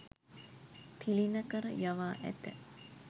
තිළිණ කර යවා ඇත.